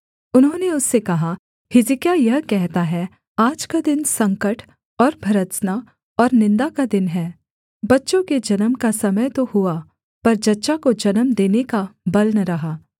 उन्होंने उससे कहा हिजकिय्याह यह कहता है आज का दिन संकट और भर्त्सना और निन्दा का दिन है बच्चों के जन्म का समय तो हुआ पर जच्चा को जन्म देने का बल न रहा